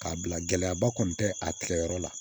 K'a bila gɛlɛyaba kɔni tɛ a tigɛ yɔrɔ la